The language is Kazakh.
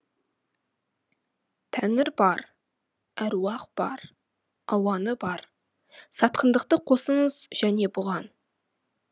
тәңір бар әруақ бар ауаны бар сатқындықты қосыңыз және бұған